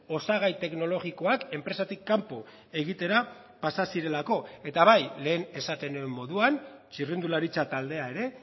osagai teknologikoak enpresatik kanpo egitera pasa zirelako eta bai lehen esaten nuen moduan txirrindularitza taldea ere